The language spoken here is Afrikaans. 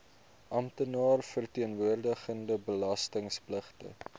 amptenaar verteenwoordigende belastingpligtige